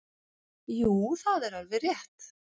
Jú það er alveg rétt.